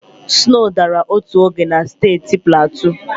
Snow dara otu oge na steeti Platu.